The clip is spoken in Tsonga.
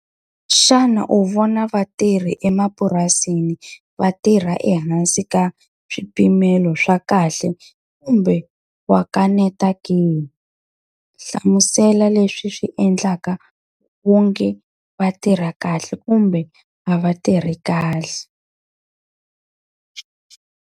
Xana u vona vatirhi emapurasini va tirha ehansi ka swipimelo swa kahle, kumbe wa kaneta ke? Hlamusela leswi swi endlaka u nge va tirha kahle kumbe a va tirhi kahle.